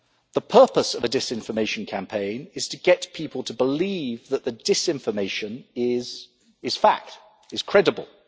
The purpose of a disinformation campaign is to get people to believe that the disinformation is fact, is credible.